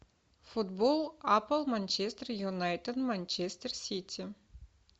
футбол апл манчестер юнайтед манчестер сити